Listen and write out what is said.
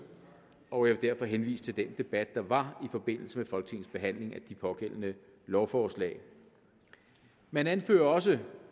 og jeg vil derfor henvise til den debat der var i forbindelse med folketingets behandling af de pågældende lovforslag man anfører også